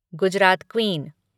Gujarat queen